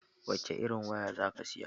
Wace irin waya zaka saya?